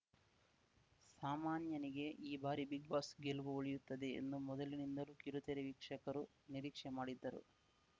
ಸಾಮಾನ್ಯನಿಗೆ ಈ ಬಾರಿ big boss ಗೆಲುವು ಒಲಿಯುತ್ತದೆ ಎಂದು ಮೊದಲಿನಿಂದಲೂ ಕಿರುತೆರೆ ವೀಕ್ಷಕರು ನಿರೀಕ್ಷೆ ಮಾಡಿದ್ದರು